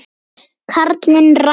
Karlinn ræður.